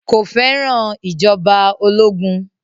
Kò fẹ́ràn ìjọba ológun